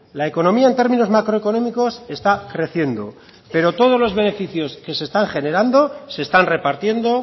la economía en términos macroeconómicos está creciendo pero todos los beneficios que se están generando se están repartiendo